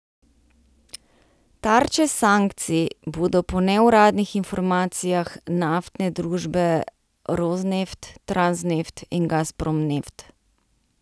Tarče sankcij bodo po neuradnih informacijah naftne družbe Rosneft, Transneft in Gazprom Neft.